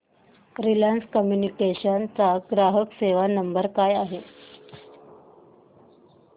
Reliance communications चा ग्राहक सेवा नंबर काय आहे